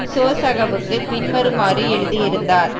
சோசகவுக்கு பின்வருமாறு எழுதியிருந்தார்